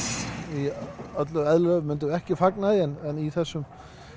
í öllu eðlilegu myndum við ekki fagna því en í þessum